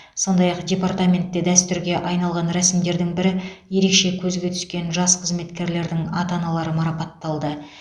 сондай ақ департаментте дәстүрге айналған рәсімдердің бірі ерекше көзге түскен жас қызметкерлердің ата аналары марапатталды